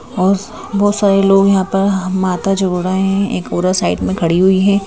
और बहुत सारे लोग यहां पर माता जोड़ रहे हैं एक और साइड में खड़ी हुई है।